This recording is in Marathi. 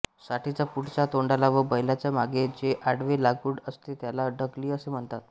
साठीच्या पुढच्या तोंडाला व बैलाच्या मागे जे आडवे लाकूड असते त्याला ढकली असे म्हणतात